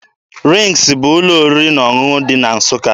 RINGZ bụ ụlọ oriri na ọṅụṅụ dị na Nsụka.